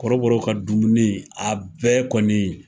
Kɔrɔbɔrɔw ka dumuni a bɛɛ kɔni.